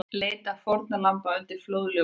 Leita fórnarlamba undir flóðljósum